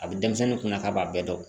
A bɛ denmisɛnnin kunna k'a b'a bɛɛ dɔn